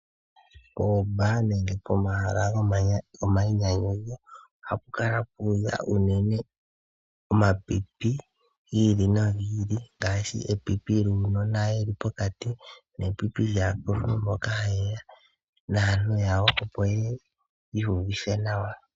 Pomahala gomanwino nenge gomayinyanyudho ohapu kala pu udha unene omapipi gi ili nogi ili ngaashi epipi egundjuka noshowo aakuluntu mboka haye ya naantu yawo, opo ye ye yi iyuvithe nawa.